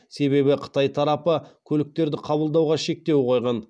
себебі қытай тарапы көліктерді қабылдауға шектеу қойған